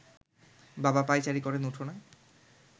বাবা পায়চারি করেন উঠোনে